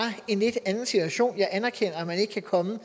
en lidt anden situation jeg anerkender at man ikke kan komme